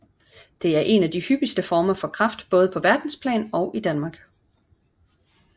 Det er en af de hyppigste former for kræft både på verdensplan og i Danmark